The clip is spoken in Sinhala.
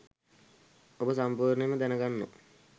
ඔබ සම්පූර්ණයෙන්ම දැනගන්නව